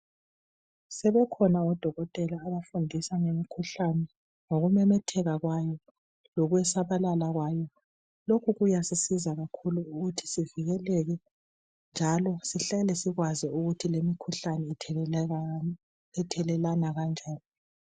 Sebekhona odokotela abafundisa ngemikhuhlane ngokumemetheka kwayo lokusabalala kwayo lokhu kuyasisiza kakhulu ngokuthi sivikeleke njalo sihlale sikwazi ukuthi lemikhuhlane ithelelwana kanjani.